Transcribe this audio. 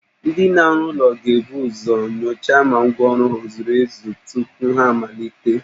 Ndị na-arụ ụlọ ga-ebu uzo nyochaa ma ngwa ọrụ ha e zuru ezu tupu ha amalite